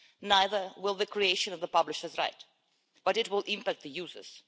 Neither will the creation of the publishers' right, but it will have an impact on the users.